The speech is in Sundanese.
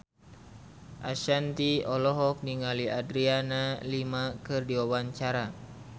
Ashanti olohok ningali Adriana Lima keur diwawancara